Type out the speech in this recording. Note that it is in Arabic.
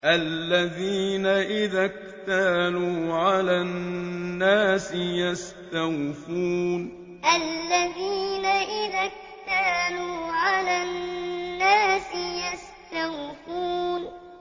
الَّذِينَ إِذَا اكْتَالُوا عَلَى النَّاسِ يَسْتَوْفُونَ الَّذِينَ إِذَا اكْتَالُوا عَلَى النَّاسِ يَسْتَوْفُونَ